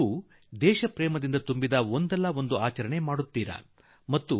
ನೀವೂ ಕೂಡಾ ದೇಶಭಕ್ತಿಯ ಸ್ಫೂರ್ತಿಯೊಡನೆ ಕೂಡಿಕೊಂಡು ಏನಾದರೂ ಒಳ್ಳೆಯ ಕಲೆಸ ಮಾಡುವಿರೆಂದು ನಾನ